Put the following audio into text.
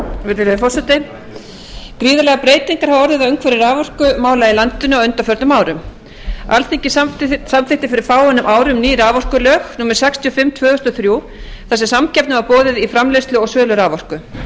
virðulegi forseti gríðarlegar breytingar hafa orðið á umhverfi raforkumála í landinu á undanförnum árum alþingi samþykkti fyrir fáeinum árum ný raforkulög númer sextíu og fimm tvö þúsund og þrjú þar sem samkeppni var boðuð í framleiðslu og sölu á raforku